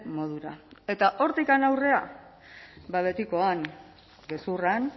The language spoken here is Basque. modura eta hortik aurrera ba betikoan gezurran